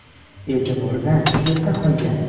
E’tibordan chetda qolgan.